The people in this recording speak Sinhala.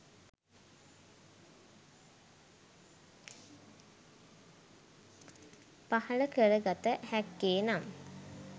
පහළ කර ගත හැක්කේ, නම්